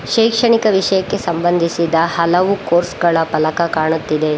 ಶೈಕ್ಷಣಿಕ ವಿಷಯಕ್ಕೆ ಸಂಬಂಧಿಸಿದ ಹಲವು ಕೋರ್ಸ್ ಗಳ ಫಲಕ ಕಾಣುತ್ತಿದೆ.